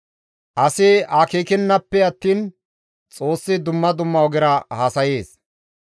Asi akeekennafe attiin Xoossi dumma dumma ogera haasayees.